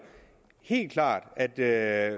helt klart at ved at